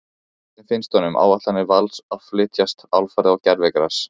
Hvernig finnst honum áætlanir Vals að flytjast alfarið á gervigras?